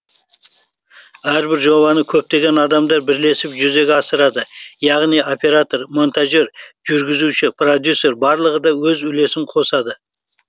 әрбір жобаны көптеген адамдар бірлесіп жүзеге асырады яғни оператор монтажер жүргізуші продюсер барлығы да өз үлесін қосады